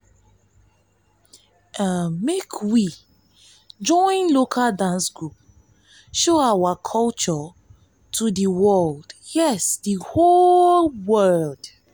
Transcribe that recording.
um make um we join local dance group show our culture to um di world um di world